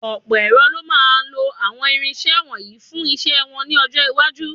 Ọ̀pọ̀ èrò ló máa máa lọ àwọn irinṣẹ́ wọ̀nyí fún iṣẹ́ wọn ní ọjọ́ iwájú.